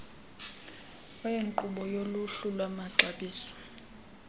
wenkqubo yoluhlu lwamaxabiso